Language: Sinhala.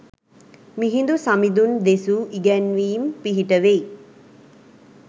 මිහිඳු සමිඳුන් දෙසූ ඉගැන්වීම් පිහිටවෙයි.